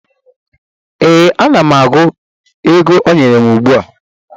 Ee, ana m agụ ego ọ nyere m ugbu a